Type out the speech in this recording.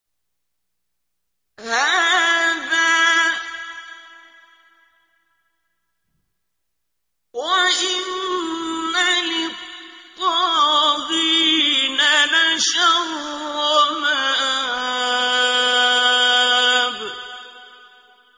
هَٰذَا ۚ وَإِنَّ لِلطَّاغِينَ لَشَرَّ مَآبٍ